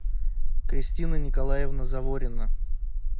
кристина николаевна заворина